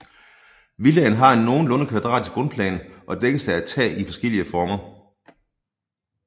Villaen har en nogenlunde kvadratisk grundplan og dækkes af et tag i forskellige former